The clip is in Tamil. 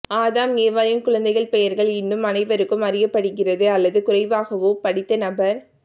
ஆதாம் ஏவாளின் குழந்தைகள் பெயர்கள் இன்னும் அனைவருக்கும் அறியப்படுகிறது அல்லது குறைவாகவோ படித்த நபர்